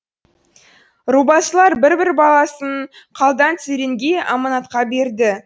рубасылар бір бір баласын қалдан церенге аманатқа берді